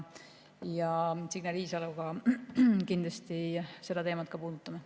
Signe Riisaloga me kindlasti seda teemat puudutame.